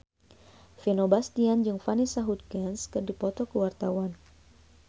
Vino Bastian jeung Vanessa Hudgens keur dipoto ku wartawan